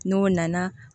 N'o nana